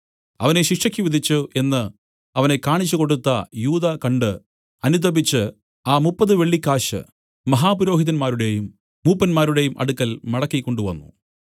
അവനെ ശിക്ഷയ്ക്ക് വിധിച്ചു എന്നു അവനെ കാണിച്ചുകൊടുത്ത യൂദാ കണ്ട് അനുതപിച്ചു ആ മുപ്പത് വെള്ളിക്കാശ് മഹാപുരോഹിതന്മാരുടെയും മൂപ്പന്മാരുടെയും അടുക്കൽ മടക്കി കൊണ്ടുവന്നു